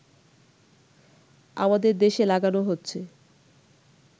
আমাদের দেশে লাগানো হচ্ছে